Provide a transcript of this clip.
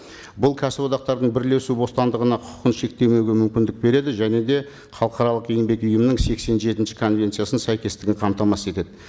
бұл кәсіподақтардың бірлесу бостандығына құқығын шектеуге мүмкіндік береді және де халықаралық еңбек ұйымының сексен жетінші конвенциясының сәйкестігін қамтамасыз етеді